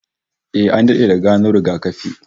Eh, an dade da gano rigakafi